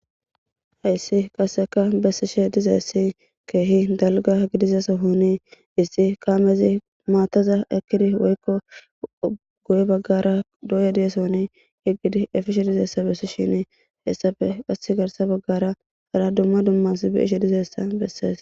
Hayssi qasseka bessishe dizayssi keehi dalgga gidiza sohoni issi kaamezi maathaza ekkidi woykko guye baggara dooye diya sohooni eqqidi efishe dizayssa bessi shiini hessafe qassi garssa baggara hara dumma dumma asi be7ishe dizayssa bessees.